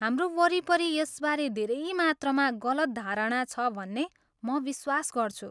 हाम्रो वरिपरि यसबारे धेरै मात्रामा गलत धारणा छ भन्ने म विश्वास गर्छु।